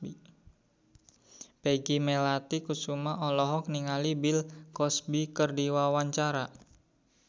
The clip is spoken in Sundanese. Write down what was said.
Peggy Melati Sukma olohok ningali Bill Cosby keur diwawancara